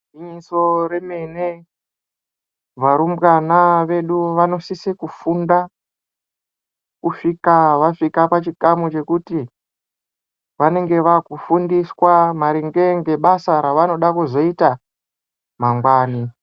Igwinyiso remene varumbwana vedu vanosise kufunda kusvika vasvika pachikamu chekuti vanenge vakufundiswa maringe ngebasa ravanoda kuzoita mangwani.